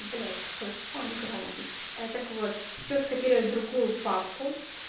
блять какой фон громкий так вот все скопировать в другую папку